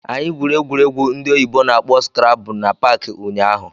Anyị gwuru egwu ndị oyibo na-akpọ skrabụ na paakị ụnyaahụ.